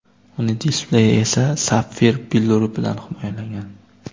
Uning displeyi esa sapfir billuri bilan himoyalangan.